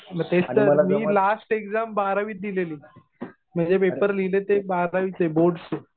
मग तेच तर मी लास्ट एक्झाम बारावीत दिलेली. मी जे पेपर लिहिले ते बारावीचे बोर्डचे.